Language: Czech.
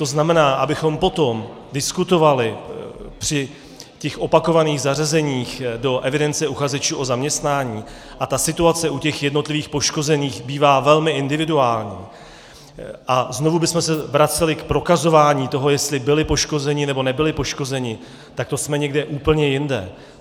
To znamená, abychom potom diskutovali při těch opakovaných zařazeních do evidence uchazečů o zaměstnání - a ta situace u těch jednotlivých poškozených bývá velmi individuální - a znovu bychom se vraceli k prokazování toho, jestli byli poškozeni, nebo nebyli poškozeni, tak to jsme někde úplně jinde.